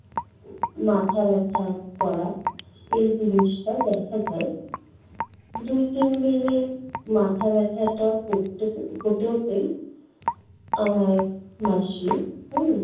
মাথাব্যথা করা এই জিনিসটা দেখা দেয় দুই তিনদিনে মাথা ব্যাথাটা করতে~ হতে হতেই আমার মাসী হম